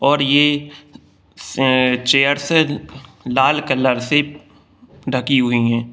और ये से-चेयर्स है लाल कलर से ढकी हुई है ।